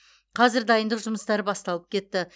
қазір дайындық жұмыстары басталып кетті